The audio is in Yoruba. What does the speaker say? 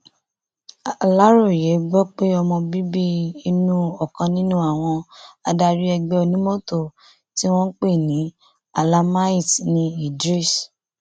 aláròye gbọ pé ọmọ bíbí inú ọkàn nínú àwọn adarí ẹgbẹ onímọtò tí wọn ń pè ní almahiti ní idris